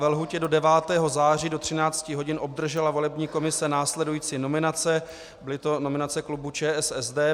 Ve lhůtě do 9. září do13 hodin obdržela volební komise následující nominace - byly to nominace klubu ČSSD.